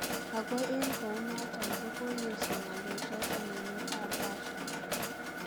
Ago en kounoton kogoyesio ngalechoton emet ab Russia.